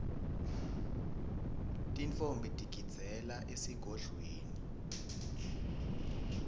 tintfombi tigidzela esigodlweni